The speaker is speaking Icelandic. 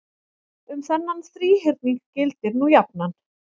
um þennan þríhyrning gildir nú jafnan